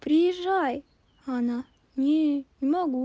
приезжай а она не не могу